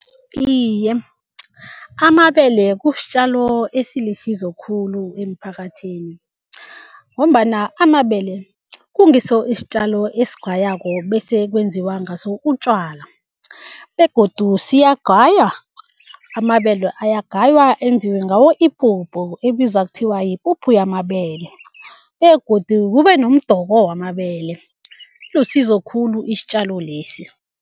Iye, amabele kusitjalo esilisizo khulu emphakathini. Ngombana amabele kungiso isitjalo esigaywako bese kwenziwa ngaso utjwala begodu siyagaywa, amabele ayagaywa enziwe ngawo ipuphu ebizwa kuthiwa yipuphu yamabele begodu kube nomdoko wamabele, ilisizo khulu isitjalo lesi.